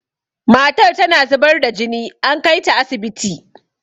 matar tana zubar da jini an kaita asibiti